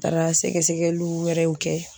Taara sɛgɛ sɛgɛliw wɛrɛw kɛ